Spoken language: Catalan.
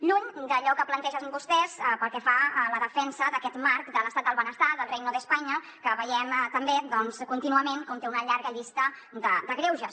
lluny d’allò que plantegen vostès pel que fa a la defensa d’aquest marc de l’estat del benestar del reino de españa que veiem també doncs contínuament com té una llarga llista de greuges